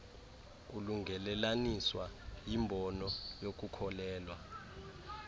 kulungelelaniswa yimbono yokukholelwa